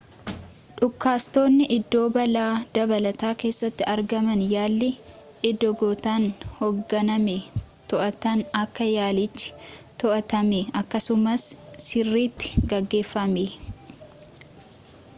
dhukaastonni iddoo balaa dabalataa keessatti argaman yaalii eegdotaan hogganame too'atan akka yaalichi too'atame akkasumas sirriitti gamaaggamame